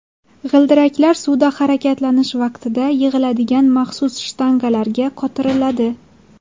G‘ildiraklar suvda harakatlanish vaqtida yig‘iladigan maxsus shtangalarga qotiriladi.